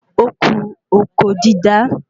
Óku oko dídá